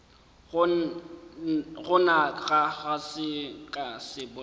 gona ga ke sa bolela